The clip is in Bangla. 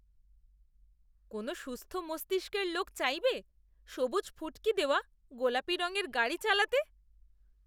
কোন সুস্থ মস্তিষ্কের লোক চাইবে সবুজ ফুটকি দেওয়া গোলাপী রঙের গাড়ি চালাতে?